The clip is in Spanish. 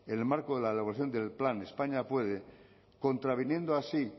en el marco de la elaboración del plan españa puede contraviniendo así